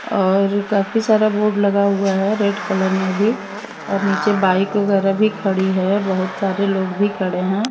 और काफी सारा बोर्ड लगा हुआ है। रेड कलर में भी और नीचे बाइक वगैरह भी खड़ी है बहुत सारे लोग भी खड़े हैं।